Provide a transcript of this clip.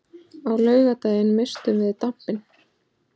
Á laugardaginn misstum við dampinn.